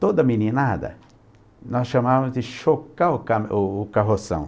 Toda meninada, nós chamávamos de chocar o ca o o carroção.